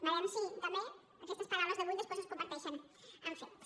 veurem si també aquestes paraules d’avui després es converteixen en fets